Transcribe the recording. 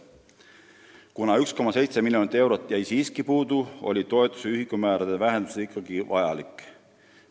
Kuna 1,7 miljonit eurot jäi siiski puudu, oli toetuste ühikumäärade vähendamine ikkagi vajalik.